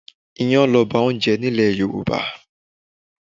Iyán loba oúnjẹ nílè Yorùbá.